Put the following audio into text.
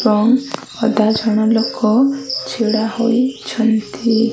ଏବଂ ଅଧା ଜଣା ଲୋକ ଛିଡା ହୋଇଛିନ୍ତି।